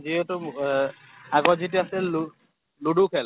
যিহেতু ৱেহ আগত যিতি আছিল লু ludo খেল